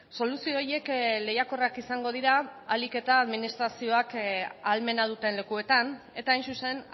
soluzio horiek lehiakorrak izango dira ahalik eta administrazioek ahalmena duten lekuetan eta hain zuzen